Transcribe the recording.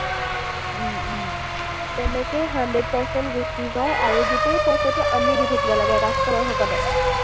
তেনেকেই hundred percent গুছি যায় আৰু গোটেই পইচাটো আমি দি থাকিব লাগে, customer সকলে।